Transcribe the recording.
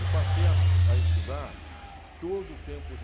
E passei a a estudar todo o tempo.